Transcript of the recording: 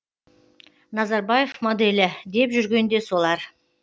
назарбаев моделі деп жүрген де солар